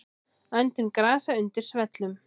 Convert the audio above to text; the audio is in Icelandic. Öndun grasa undir svellum.